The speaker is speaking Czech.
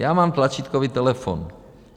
Já mám tlačítkový telefon.